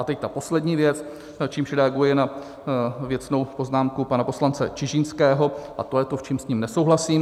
A teď ta poslední věc, čímž reaguji na věcnou poznámku pana poslance Čižinského, a to je to, v čem s ním nesouhlasím.